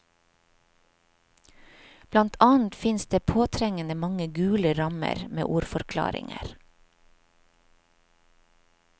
Blant annet finnes det påtrengende mange gule rammer med ordforklaringer.